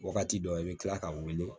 Wagati dɔ i bɛ tila ka wele